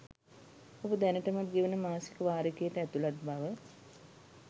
ඔබ දැනටමත් ගෙවන මාසික වාරිකයට ඇතුලත් බව